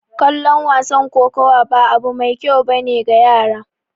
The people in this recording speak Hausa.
Kallon wasan kokowa ba abu mai kyau ba ne ga yara